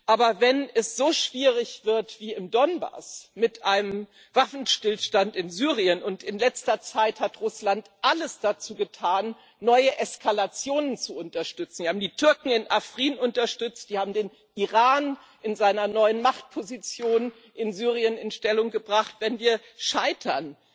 Aber wenn es so schwierig wird wie im Donbass, mit einem Waffenstillstand in Syrien und in letzter Zeit hat Russland alles dazu getan, neue Eskalationen zu unterstützen, sie haben die Türken in Afrin unterstützt, sie haben den Iran in seiner neuen Machtposition in Syrien in Stellung gebracht wenn wir scheitern,